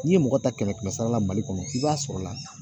N'i ye mɔgɔ ta kɛmɛ kɛmɛ sara la mali kɔnɔ i b'a sɔrɔ la